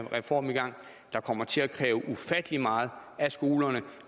reform i gang der kommer til at kræve ufattelig meget af skolerne